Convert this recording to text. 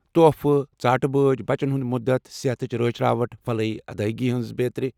تحفہٕ، ژاٹہٕ بٲجۍ ، بچن ہٖند مدتھ ، صحتچہِ رٲچھِ راوٹھ ، فلاحی ادٲیگی بیترِ۔